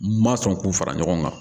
N ma sɔn k'u fara ɲɔgɔn kan